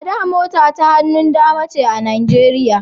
A da mota ta hannun dama ce a Nijeriya